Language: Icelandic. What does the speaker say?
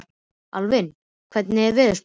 Alvin, hvernig er veðurspáin?